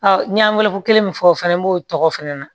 n ye kelen min fɔ o fana b'o tɔgɔ fɛnɛ na